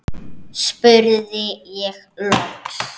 spurði ég loks.